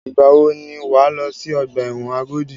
Ìgbà wò ni wà á lọ sí ọgbà ẹ̀wọ̀n Agodi?